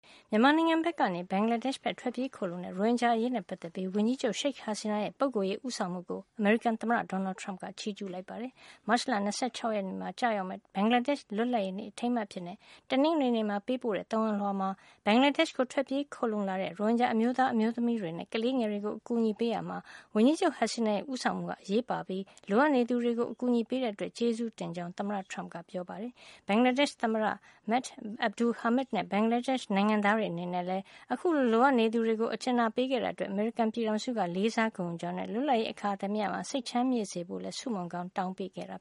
မြန်မာနိုင်ငံကနေ ဘင်္ဂလားဒေ့ရှ်ဘက် ထွက်ပြေးခိုလှုံကြတဲ့ ရိုဟင်ဂျာတွေ အရေးနဲ့ပတ်သက်ပြီး ဝန်ကြီးချုပ် Sheikh Hasina ရဲ့ ပုဂ္ဂိုလ်ရေး ဦးဆောင်မှုကို အမေရိကန်သမ္မတ Donald Trump က ချီးကျူးပြောဆိုလိုက်ပါတယ်။ မတ်လ ၂၆ ရက် တနင်္လာနေ့မှာ ကျရောက်တဲ့ ဘင်္ဂလားဒေ့ရှ်နိုင်ငံရဲ့ လွတ်လပ်ရေးနေ့ အထိမ်းအမှတ်အဖြစ် တနင်္ဂနွေနေ့မှာ ပေးပို့တဲ့ သဝဏ်လွှာမှာ သမ္မတထရမ့်ပ်က အဲဒီလို ချီးကျူူးထားတာပါ။ ဘင်္ဂလားဒေ့ရှ်ကို ထွက်ပြေးခိုလှုံလာသူ ရိုဟင်ဂျာအမျိုးသား၊ အမျိုးသမီးတွေနဲ့ ကလေးငယ်တွေကို အကူအညီပေးရာမှာ ဝန်ကြီးချုပ် Hasina ရဲ့ ဦးဆောင်မှုဟာ အရေးပါပြီး လိုအပ်နေသူတွေကို အကူညီပေးတဲ့အတွက် ကျေးဇူးတင်ကြောင်း သမ္မတ Trump က ပြောကြားထားတာ ဖြစ်ပါတယ်။ ဘင်္ဂလားဒေ့ရှ်သမ္မတ Md Abdul Hamid နဲ့ ဘင်္ဂလားဒေ့ရှ် နိုင်ငံသားတွေအနေနဲ့လည်း အခုလို လိုအပ်နေသူတွေကို ကူညီခဲ့တာအတွက် အမေရိကန်ပြည်ထောင်စုက လေးစားဂုဏ်ယူကြောင်းနဲ့ လွတ်လပ်ရေးအခါသမယမှာ စိတ်ချမ်းမြေ့စေဖို့လည်း ဆုမွန်ကောင်း တောင်းပေးခဲ့တာ